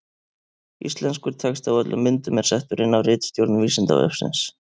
Íslenskur texti á öllum myndum er settur inn af ritstjórn Vísindavefsins.